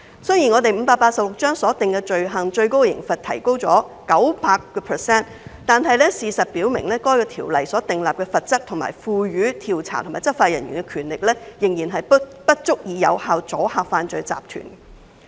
儘管第586章所訂罪行的最高刑罰提高了 900%， 但事實表明該條例所訂立的罰則，以及賦予調查及執法人員的權力，仍不足以有效阻嚇犯罪集團。